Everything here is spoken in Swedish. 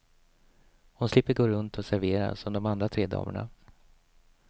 Hon slipper gå runt och servera som de andra tre damerna.